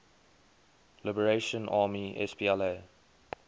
liberation army spla